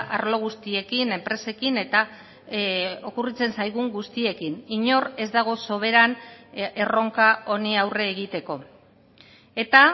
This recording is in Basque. arlo guztiekin enpresekin eta okurritzen zaigun guztiekin inor ez dago soberan erronka honi aurre egiteko eta